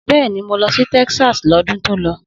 Bẹ́ẹ̀ni, mo lọ sí Texas lọ́dún tó lọ.